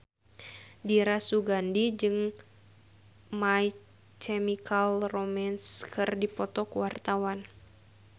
Dira Sugandi jeung My Chemical Romance keur dipoto ku wartawan